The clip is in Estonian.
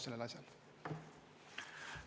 Selline taust siis.